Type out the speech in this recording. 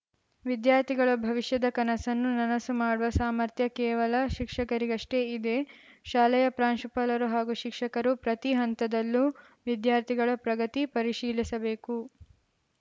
ವಿದ್ಯಾರ್ಥಿಗಳ ಭವಿಷ್ಯದ ಕನಸನ್ನು ನನಸು ಮಾಡುವ ಸಾಮರ್ಥ್ಯ ಕೇವಲ ಶಿಕ್ಷಕರಿಗಷ್ಟೇ ಇದೆ ಶಾಲೆಯ ಪ್ರಾಂಶುಪಾಲರು ಹಾಗೂ ಶಿಕ್ಷಕರು ಪ್ರತಿ ಹಂತದಲ್ಲೂ ವಿದ್ಯಾರ್ಥಿಗಳ ಪ್ರಗತಿ ಪರಿಶೀಲಿಸಬೇಕು